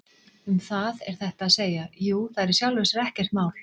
Um það er þetta að segja: Jú, það er í sjálfu sér ekkert mál.